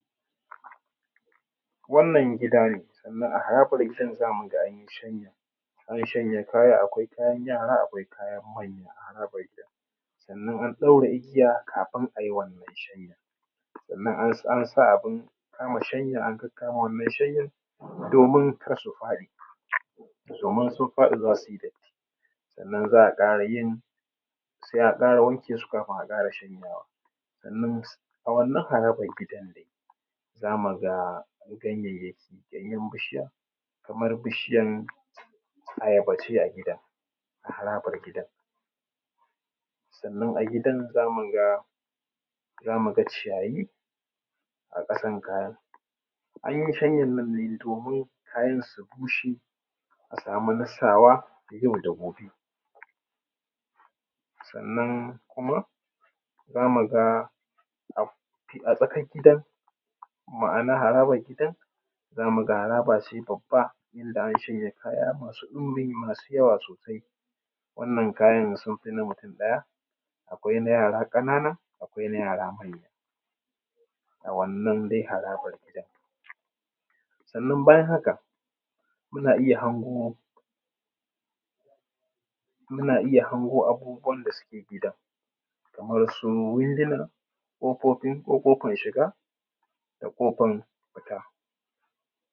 Wannan gidanessan ahayaku me gidan za mu ga an yi shanya an shanya kaya akwai kayan yara, akwai kayan manya a harabar gidan sannan an ɗaura igiya kafin ai wannan shanyan sannan an sa abun kaman shanya an kakkamame shanyan domin ƙar su faɗi domin in sun faɗi za su yi datti. Sannan za a yin za a ƙara wanke su kafun a ƙara shanyawa sannan a wannan harabar gida dai za mu ga ganyayyaki. Ganyen bishiya kamar bishiyar ayaba ce a gidan a harabar gidan sannan a gidan za mu ga za mu ga ciyaya a ƙasan kayan An yi shanyan nan ne domin kayan su bushe a samu na sawa yau da gobe sannan kuma za mu ga an a tsakar gidan ma’ana harabar gidan za mu ga haraba ce ida an ʃanja kaja ko masu ɗunbin jawa sosai sannan kajan sun fi na mutum ɗaya. Akwai na yara ƙanana, akwaina yara manya a wannan dai harabar gidan sannan bayan haka kuna iya hango, muna iya hango abubuwan da suke gidan kamar su windina, ƙofofin ƙofan shiga da ƙofan fita.